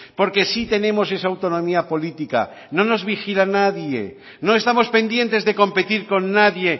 porque sí tenemos esa autonomía política no nos vigila nadie no estamos pendientes de competir con nadie